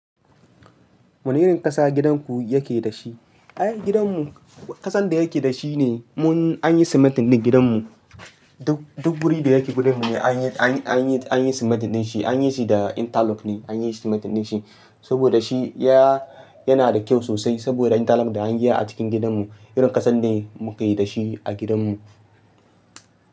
Wane irin ƙasa gidanku yake da shi? Ai gidanmu ƙasan da yake da shi ne mun an yi simintin din gidanmu. Duk, duk wuri da yake gidanmu ne an yi, an yi, an yi, an yi simintin din shi. An yi shi da interlock ne, an yi shi simintin din shi. Saboda shi ya, yana da kyau sosai saboda interlock da an yi a cikin gidanmu. Irin ƙasan ne muke da shi a gidanmu.